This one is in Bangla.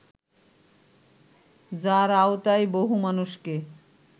যার আওতায় বহু মানুষকে